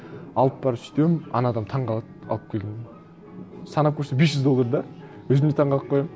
алып барып сөйтіп едім ана адам таңғалады алып келдім санап көрсе бес жүз доллар да өзім де таңғалып қоямын